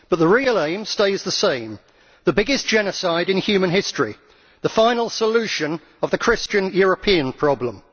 But the real aim stays the same the biggest genocide in human history, the final solution to the Christian European problem.